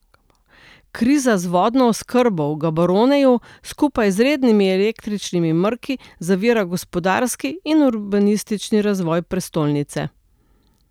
Kriza z vodno oskrbo v Gaboroneju skupaj z rednimi električnimi mrki zavira gospodarski in urbanistični razvoj prestolnice.